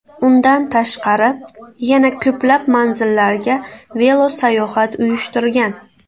Undan tashqari yana ko‘plab manzillarga velosayohat uyushtirgan.